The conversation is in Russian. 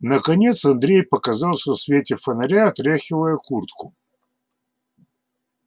наконец андрей показался в свете фонаря отряхивая куртку